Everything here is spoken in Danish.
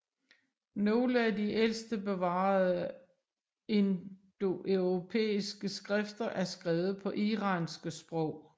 Nogle af de ældste bevarede indoeuropæiske skrifter er skrevet på iranske sprog